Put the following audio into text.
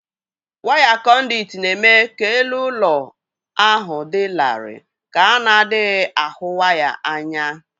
Waya kọ̀ndị̀ụ̀t na-eme ka elu ụlọ ahụ dị larịị ka a na-adịghị ahụ waya anya w